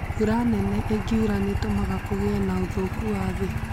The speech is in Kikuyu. Mbura nene ĩngiura nĩ ĩtũmaga kũgĩe na ũthũku wa thĩ